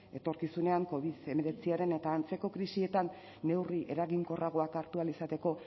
etorkizunean covid hemeretziaren eta antzeko krisietan neurri eraginkorragoak hartu ahal izateko